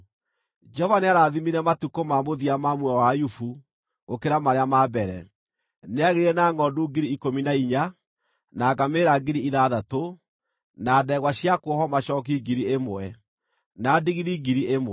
Jehova nĩarathimire matukũ ma mũthia ma muoyo wa Ayubu gũkĩra marĩa ma mbere. Nĩaagĩire na ngʼondu 14,000, na ngamĩĩra 6,000, na ndegwa cia kuohwo macooki 1,000, na ndigiri 1,000.